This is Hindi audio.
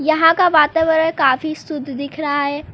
यहां का वातावरण काफी शुद्ध दिख रहा है।